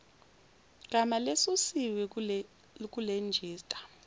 gama lesusiwe kulejista